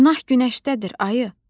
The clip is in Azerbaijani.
Günah günəşdədir, ayı.